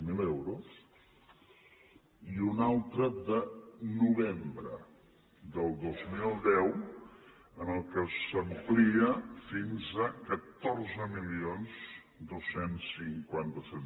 zero euros i una altra de novembre del dos mil deu en què s’amplia fins a catorze mil dos cents i cinquanta set